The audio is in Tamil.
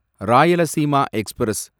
ராயலசீமா எக்ஸ்பிரஸ்